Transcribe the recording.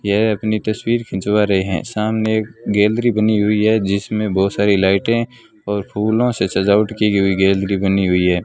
यह अपनी तस्वीर खिंचवा रहे हैं सामने गैलरी बनी हुई है जिसमें बहुत सारी लाइटें और फूलों से सजावट की गई हुई गैलरी बनी हुई है।